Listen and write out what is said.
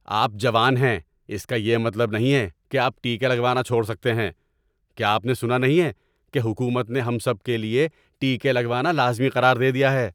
آپ جوان ہیں اس کا یہ مطلب نہیں ہے کہ آپ ٹیکے لگوانا چھوڑ سکتے ہیں۔ کیا آپ نے سنا نہیں ہے کہ حکومت نے ہم سب کے لیے ٹیکے لگوانا لازمی قرار دے دیا ہے؟